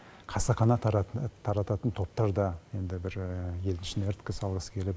қасақана тарататын топтар да енді бір ел ішіне іріткі салғысы келіп